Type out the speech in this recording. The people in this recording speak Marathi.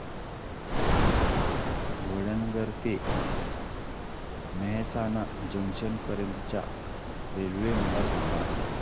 वडनगर ते मेहसाणा जंक्शन पर्यंत च्या रेल्वे मला सांगा